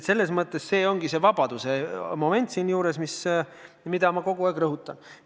See ongi siin see vabaduse moment, mida ma kogu aeg rõhutan.